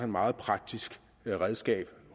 meget praktisk redskab